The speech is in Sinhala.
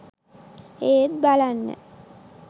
එත් බලන්න